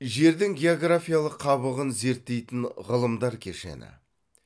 жердің географиялық қабығын зерттейтін ғылымдар кешені